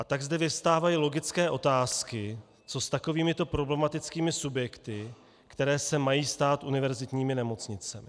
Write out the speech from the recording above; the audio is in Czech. A tak zde vyvstávají logické otázky, co s takovýmito problematickými subjekty, které se mají stát univerzitními nemocnicemi.